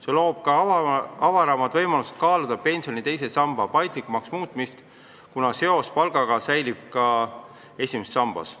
See loob ka avaramad võimalused kaaluda pensioni teise samba paindlikumaks muutmist, kuna seos palgaga säilib ka esimeses sambas.